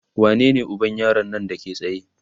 wanene uban yaron Nan Dake tsaye?